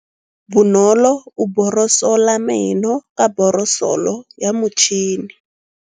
Bonolô o borosola meno ka borosolo ya motšhine.